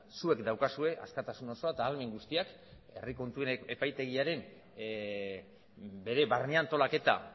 zuek daukazue askatasun osoa eta ahalmen guztiak herri kontuen epaitegiaren bere barne antolaketa